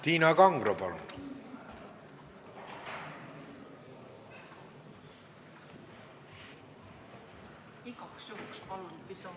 Tiina Kangro, palun!